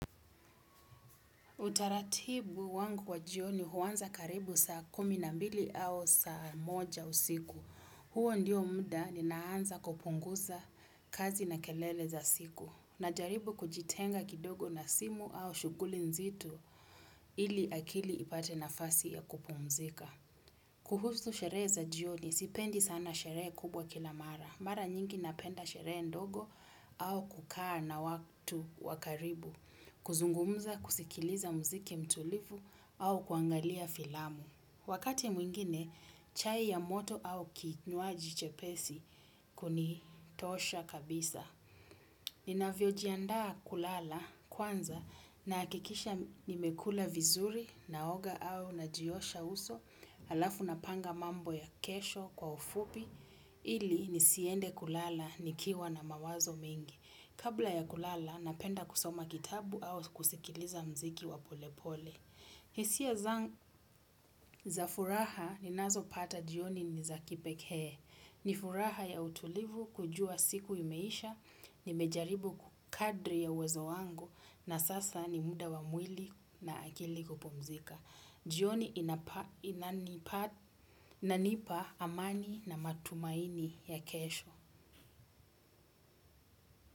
Utaratibu wangu wa jioni huwanza karibu saa kumi na mbili au saa moja usiku. Huo ndio muda nina anza kupunguza kazi na kelele za siku. Najaribu kujitenga kidogo na simu au shuguli nzito ili akili ipate nafasi ya kupumzika. Kuhusu sherehe za jioni, sipendi sana sherehe kubwa kila mara. Mara nyingi napenda sherehe ndogo au kukaa na watu wa karibu. Kuzungumuza kusikiliza mziki mtulivu au kuangalia filamu. Wakati mwingine, chai ya moto au kinwaji chepesi kunitosha kabisa. Nina vyojiandaa kulala kwanza na hakikisha nimekula vizuri na oga au najiosha uso alafu na panga mambo ya kesho kwa ufupi ili nisiende kulala nikiwa na mawazo mingi. Kabla ya kulala, napenda kusoma kitabu au kusikiliza mziki wa polepole. Hisia za furaha ni nazo pata jioni ni za kipekee. Ni furaha ya utulivu kujua siku imeisha, nimejaribu kadri ya uwezo wangu na sasa ni muda wa mwili na akili kupumzika. Jioni inanipa amani na matumaini ya kesho.